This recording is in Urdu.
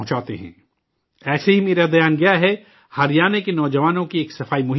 ایسے ہی میرا دھیان گیا ہے، ہریانہ کے نوجوانوں کے ایک سووچھتا ابھیان پر